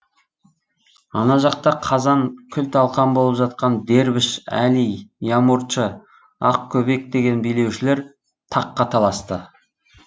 ана жақта қазан күл талқан болып жатқан дербіш әли ямурчы ақкөбек деген билеушілер таққа таласты